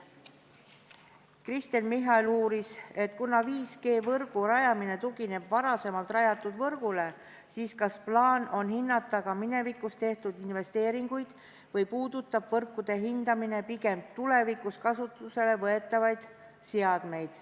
Kristen Michal uuris, et kuna 5G-võrgu rajamine tugineb varasemalt rajatud võrgule, siis kas on plaanis hinnata ka minevikus tehtud investeeringuid või puudutab võrkude hindamine pigem tulevikus kasutusele võetavaid seadmeid.